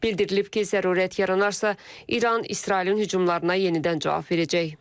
Bildirilib ki, zərurət yaranarsa, İran İsrailin hücumlarına yenidən cavab verəcək.